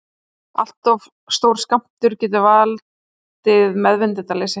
allt of stór skammtur getur valdið meðvitundarleysi